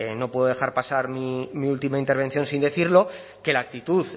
no puedo dejar pasar mi última intervención sin decirlo que la actitud